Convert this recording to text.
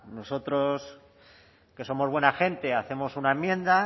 nosotros que somos buena gente hacemos una enmienda